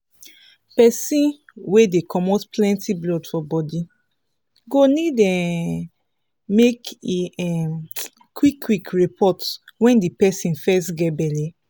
persin wey dey comot plenty blood for body go need um make e um qik qik report when the persin fest get belle